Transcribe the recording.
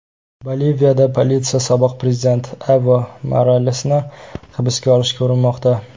Boliviyada politsiya sobiq prezident Evo Moralesni hibsga olishga urinmoqda.